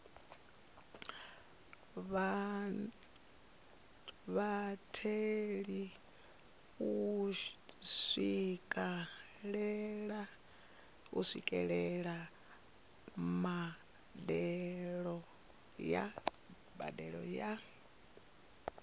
vhatheli u swikelela mbadelo ya